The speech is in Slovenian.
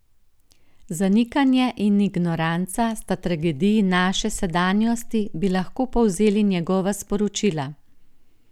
Zanikanje in ignoranca sta tragediji naše sedanjosti, bi lahko povzeli njegova sporočila.